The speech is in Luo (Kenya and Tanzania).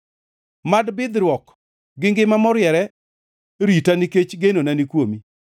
Mad bidhruok gi ngima moriere rita nikech genona ni kuomi.